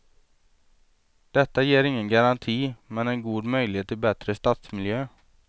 Detta ger ingen garanti men en god möjlighet till bättre stadsmiljö.